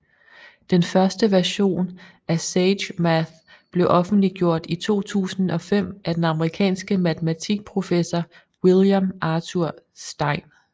Den første version af SageMath blev offentliggjort i 2005 af den amerikanske matematiker professor William Arthur Stein